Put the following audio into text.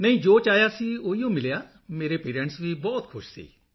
ਨਹੀਂ ਜੋ ਚਾਹਿਆ ਸੀ ਉਹੀ ਮਿਲਿਆ ਹੈ ਮੇਰੇ ਪੇਰੈਂਟਸ ਵੀ ਬਹੁਤ ਖੁਸ਼ ਹਨ